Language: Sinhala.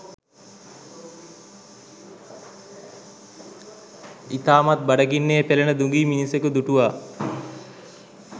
ඉතාමත් බඩගින්නේ පෙළෙන දුගී මිනිසෙකු දුටුවා.